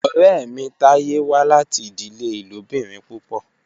Ọrẹ mi Taye wa lati idile ilobirin pupọ.